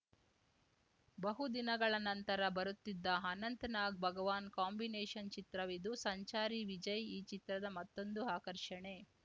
ಬಹುದಿನಗಳ ನಂತರ ಬರುತ್ತಿದ್ದ ಅನಂತ್‌ ನಾಗ್‌ ಭಗವಾನ್‌ ಕಾಂಬಿನೇಷನ್‌ ಚಿತ್ರವಿದು ಸಂಚಾರಿ ವಿಜಯ್‌ ಈ ಚಿತ್ರದ ಮತ್ತೊಂದು ಆಕರ್ಷಣೆ